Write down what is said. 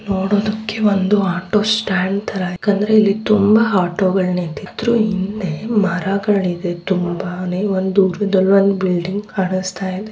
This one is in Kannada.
ನೋಡೋದಕ್ಕೆಒಂದು ಆಟೋ ಸ್ಟ್ಯಾಂಡ್ ತರ ಯಾಕಂದ್ರೆ ಇಲ್ಲಿ ತುಂಬಾ ಆಟೋಗಳು ನಿಂತಿದ್ರು ಹಿಂದೆ ಮರಗಳಿದೆ. ತುಂಬಾನೆ ಒಂದು ದೂರದಲ್ಲಿಒಂದು ಬಿಲ್ಡಿಂಗ್ ಕಾಣಸ್ತಾಯಿದೆ.